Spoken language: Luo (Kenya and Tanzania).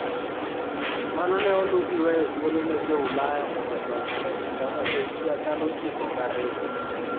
Mano ne oluw gi weyo thuolo ne Jo - Ulaya mondo odonj e chulano e higa 1902.